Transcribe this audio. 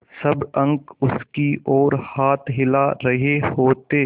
सब अंक उसकी ओर हाथ हिला रहे होते